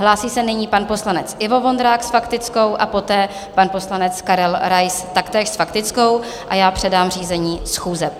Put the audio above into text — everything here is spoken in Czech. Hlásí se nyní pan poslanec Ivo Vondrák s faktickou a poté pan poslanec Karel Rais, taktéž s faktickou, a já předám řízení schůze.